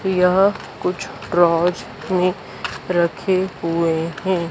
यह कुछ प्रोज मे रखे हुए हैं।